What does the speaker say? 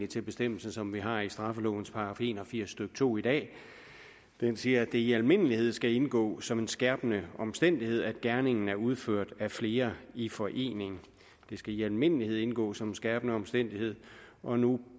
til bestemmelsen som vi har i straffelovens § en og firs stykke to i dag den siger at det i almindelighed skal indgå som en skærpende omstændighed at gerningen er udført af flere i forening det skal i almindelighed indgå som en skærpende omstændighed og nu